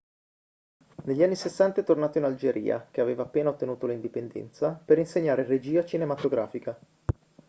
negli anni 60 è tornato in algeria che aveva appena ottenuto l'indipendenza per insegnare regia cinematografica